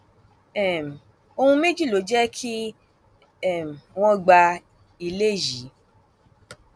um ohun méjì ló jẹ kí um wọn gba ilé yìí